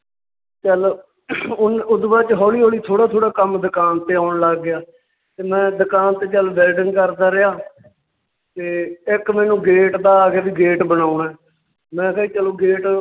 ਚੱਲ ਉਨ~ ਓਦੂ ਬਾਅਦ ਚ ਹੌਲੀ ਹੌਲੀ ਥੌੜਾ ਥੌੜਾ ਕੰਮ ਦੁਕਾਨ ਤੇ ਆਉਣ ਲੱਗ ਗਿਆ ਤੇ ਮੈਂ ਦੁਕਾਨ ਤੇ ਚੱਲ ਵੈਲਡਿੰਗ ਕਰਦਾ ਰਿਹਾ ਤੇ ਇੱਕ ਮੈਨੂੰ gate ਦਾ ਆ ਗਿਆ ਵੀ gate ਬਣਾਉਣਾ ਹੈ, ਮੈਂ ਕਿਹਾ ਜੀ ਚਲੋਂ gate